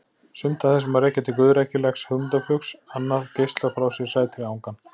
Sumt af þessu má rekja til guðrækilegs hugmyndaflugs, annað geislar frá sér sætri angan.